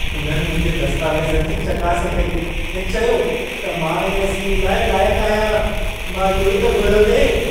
उन्हनि मुंहिंजे दस्तावेज़नि जी चकास कई ऐं चयो त मां इन स्कीम लाइ लाइकु आहियां। मां इहो ई त घुरियो थे।